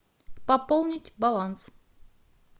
пополнить баланс